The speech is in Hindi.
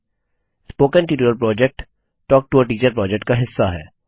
spoken tutorial project talk to a teacher project का हिस्सा है